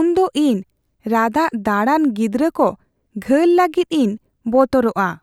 ᱩᱱᱫᱚ ᱤᱧ ᱨᱟᱫᱟᱜ ᱫᱟᱹᱲᱟᱱ ᱜᱤᱫᱽᱨᱟᱹ ᱠᱚ ᱜᱷᱟᱹᱞ ᱞᱟᱹᱜᱤᱫ ᱮᱤᱧ ᱵᱚᱛᱚᱨᱚᱜᱼᱟ ᱾